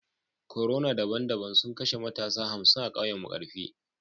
Corona daban-daban sun kashe matasa hamsin a kauyen markafi